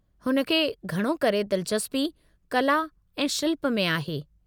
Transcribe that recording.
हुन खे घणो करे दिलचस्पी कला ऐं शिल्प में आहे।